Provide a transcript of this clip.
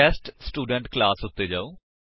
test student class ਉੱਤੇ ਜਾਓ